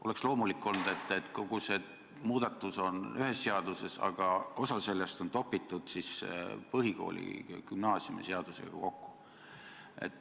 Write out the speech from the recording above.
Oleks loomulik olnud, et kogu see muudatus on ühes seaduses, aga osa sellest on topitud põhikooli- ja gümnaasiumiseadusega kokku.